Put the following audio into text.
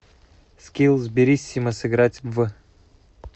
скилл сбериссимо сыграть в